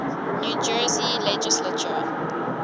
new jersey legislature